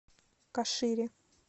кашире